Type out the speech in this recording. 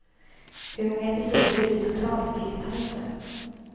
Hur många episoder det blir totalt vet han inte.